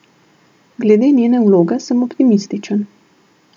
Glede njene vloge sem optimističen.